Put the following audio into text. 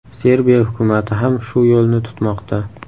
Serbiya hukumati ham shu yo‘lni tutmoqda.